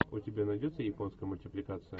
у тебя найдется японская мультипликация